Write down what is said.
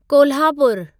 कोल्हापुरु